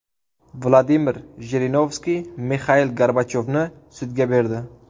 Vladimir Jirinovskiy Mixail Gorbachyovni sudga berdi .